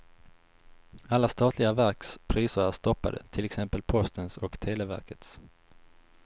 Alla statliga verks priser är stoppade, till exempel postens och televerkets.